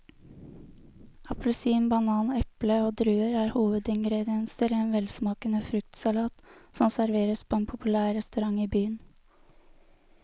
Appelsin, banan, eple og druer er hovedingredienser i en velsmakende fruktsalat som serveres på en populær restaurant i byen.